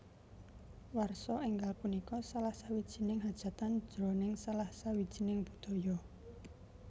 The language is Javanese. Warsa enggal punika salah sawijining hajatan jroning salah sawijining budaya